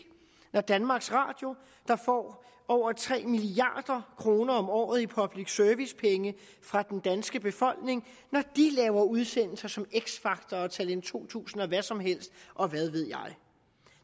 når danmarks radio der får over tre milliard kroner om året i public service penge fra den danske befolkning laver udsendelser som x factor og talent to tusind og hvad som helst og hvad ved jeg